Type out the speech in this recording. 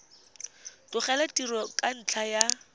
tlogela tiro ka ntlha ya